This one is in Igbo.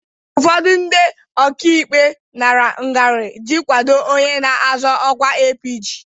ụfọdụ ndị ọkaikpe nara ngarị iji kwado onye na-azọ ọkwa APG.